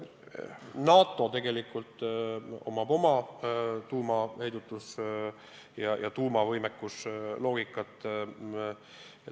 NATO tegelikult lähtub tuumaheidutuse ja tuumavõimekuse põhimõttest.